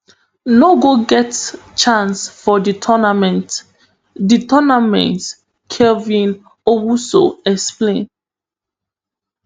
no go get chance for di tournament di tournament kelvin owusu explain